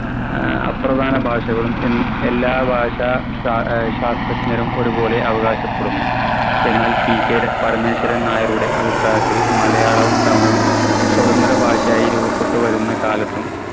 ആഹ് അപ്രധാന ഭാഷകളും എന്ന് എല്ലാ ഭാഷ ഷാ ഏർ ശാസ്ത്രജ്ഞരും ഒരു പോലെ അവകാശപ്പെടുന്നു. എന്നാൽ PK ടെ പരമേശ്വരൻ നായരുടെ അഭിപ്രായത്തിൽ മലയാളവും തമിഴും സ്വാതന്ത്ര്യ ഭാഷയായി രൂപപ്പെട്ടുവരുന്ന കാലത്തും